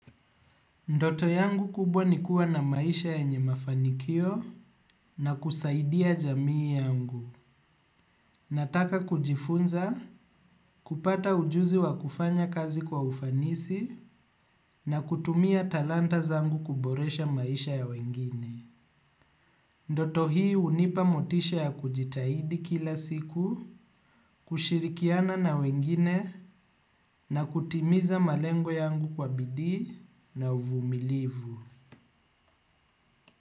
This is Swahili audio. Ndoto yangu kubwa ni kuwa na maisha yenye mafanikio na kusaidia jamii yangu. Nataka kujifunza, kupata ujuzi wa kufanya kazi kwa ufanisi na kutumia talanta zangu kuboresha maisha ya wengine. Ndoto hii hunipa motisha ya kujitahidi kila siku, kushirikiana na wengine na kutimiza malengo yangu kwa bidii na uvumilivu.